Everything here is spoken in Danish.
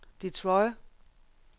Detroit